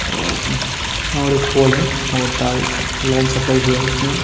और और एक पोल है और तार लाइन सप्लाई हुआ है उसमें ।